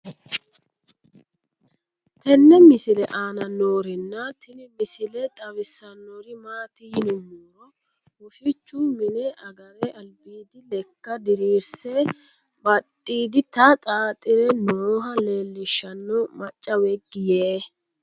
tenne misile aana noorina tini misile xawissannori maati yinummoro woshshichu mine agare alibbiddi lekka diriirisse badhiiditta xaaxxire nooha leelishshanno macca weegi yee